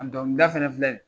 donkilida fana filɛ